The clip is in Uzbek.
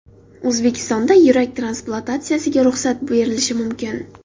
O‘zbekistonda yurak transplantatsiyasiga ruxsat berilishi mumkin.